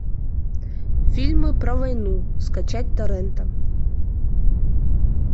фильмы про войну скачать торрентом